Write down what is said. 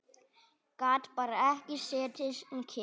Gat bara ekki setið kyrr.